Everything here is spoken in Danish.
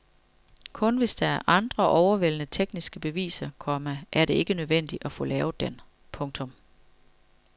Kun hvis der er andre overvældende tekniske beviser, komma er det ikke nødvendigt at få lavet den. punktum